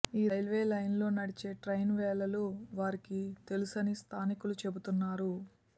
ఈ రైల్వే లైనులో నడిచే ట్రైన్ వేళలు వారికి తెలుసని స్థానికులు చెబుతున్నారు